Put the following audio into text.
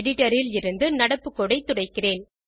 editor ல் இருந்து நடப்பு கோடு ஐ துடைக்கிறேன்